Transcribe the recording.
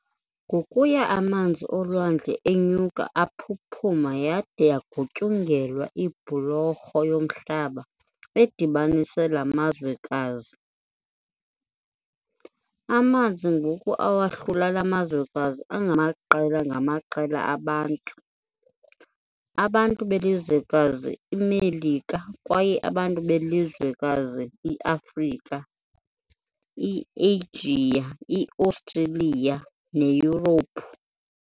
Ngokuya amanzi olwandle enyuka aphuphuma yade yagutyungelwa ibhulorho yomhlaba edibanisa la mazwekazi. Amanzi ngoku awahlula lamazwekazi angamaqela ngamaqela abantu- abantu belizwekazi iiMelika kwaye abantu belizwekazi i-Afrika, i-Eyijiya, i-Ostreliya neYurophu.